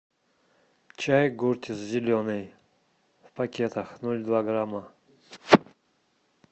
чай гуртис зеленый в пакетах ноль два грамма